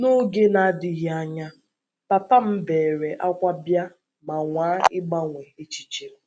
N’oge na - adịghị anya, papa m beere ákwá bịa ma nwaa ịgbanwe echiche m.